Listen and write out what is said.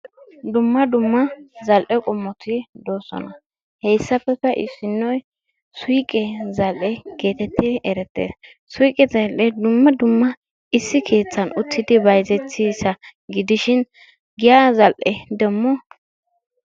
Dumma dumma zal''e qommoti doosona. heyssappekka issinoy suyqqe zal''e geetettidi erettees. Suyqqe zal''e dumma dumma issi keettan uttidi bayzzetiyasa gidishin giya zal''e demo...